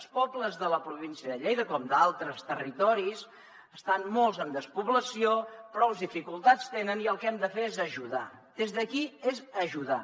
els pobles de la província de lleida com d’altres territoris estan molts en despoblació prous dificultats tenen i el que hem de fer és ajudar des d’aquí ajudar